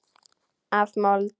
Af mold.